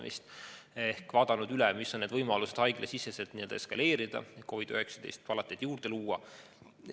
Haiglad on vaadanud üle, millised on võimalused haiglasiseselt COVID-19 palateid juurde luua.